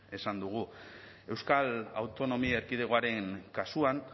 esan dugu euskal autonomia erkidegoaren kasuan